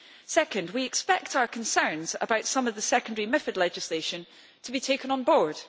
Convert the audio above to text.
Second, we expect our concerns about some of the secondary legislation to be taken on board.